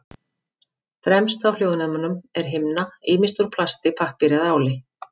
Fremst á hljóðnemum er himna, ýmist úr plasti, pappír eða áli.